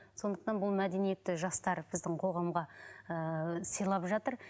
сондықтан бұл мәдениетті жастар біздің қоғамға ыыы сыйлап жатыр